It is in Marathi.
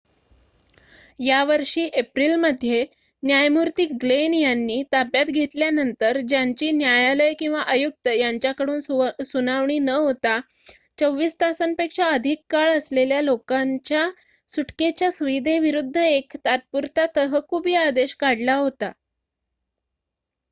यावर्षी एप्रिल मध्ये न्यायमूर्ती ग्लेन यांनी ताब्यात घेतल्यानंतर ज्यांची न्यायालय किंवा आयुक्त यांच्याकडून सुनावणी न होता 24 तासापेक्षा अधिक काळ असलेल्या लोकांच्या सुटकेच्या सुविधेविरुद्ध एक तात्पुरता तहकुबी आदेश काढला होता